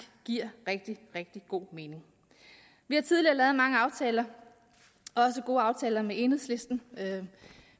giver rigtig rigtig god mening vi har tidligere lavet mange aftaler også gode aftaler med enhedslisten og